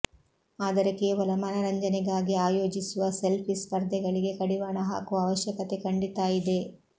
ಆದರೆ ಕೇವಲ ಮನರಂಜನೆಗಾಗಿ ಆಯೋಜಿಸುವ ಸೆಲ್ಫಿ ಸ್ಪರ್ಧೆಗಳಿಗೆ ಕಡಿವಾಣ ಹಾಕುವ ಅವಶ್ಯಕತೆ ಖಂಡಿತಾ ಇದೆ